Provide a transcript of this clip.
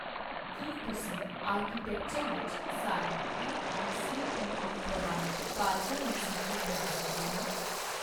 ਕੀ ਤੁਸੀਂ ਆਰਕੀਟੈਕਚਰ ਵਿੱਚ ਸਾਰੇ ਏਆਈਸੀਟੀਈ ਪ੍ਰਵਾਨਿਤ ਕਾਲਜਾਂ ਦੀ ਸੂਚੀ ਬਣਾ ਸਕਦੇ ਹੋ